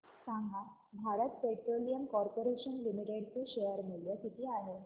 सांगा Bharat petroleum corporation limited चे share मूल्य किती आहे